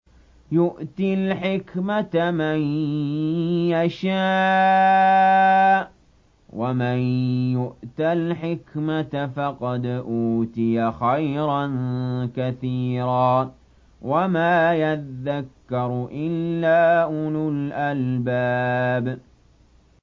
يُؤْتِي الْحِكْمَةَ مَن يَشَاءُ ۚ وَمَن يُؤْتَ الْحِكْمَةَ فَقَدْ أُوتِيَ خَيْرًا كَثِيرًا ۗ وَمَا يَذَّكَّرُ إِلَّا أُولُو الْأَلْبَابِ